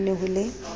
na ho ne ho le